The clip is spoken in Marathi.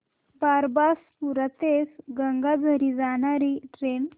बारबासपुरा ते गंगाझरी जाणारी ट्रेन